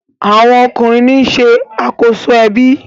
awọn ọkunrin ní ṣe akoso ebi.